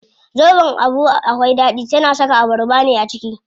Zobon Abu akwai ɗaɗi, tana saka abarba ne a ciki.